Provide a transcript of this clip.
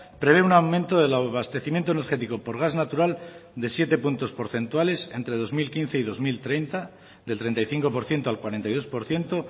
prevé un aumento del abastecimiento energético por gas natural de siete puntos porcentuales entre dos mil quince y dos mil treinta del treinta y cinco por ciento al cuarenta y dos por ciento